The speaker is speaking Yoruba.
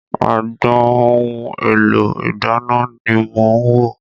Agbọn ohun èlò ìdáná ni mò ń wò.